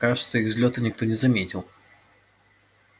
кажется их взлёта никто не заметил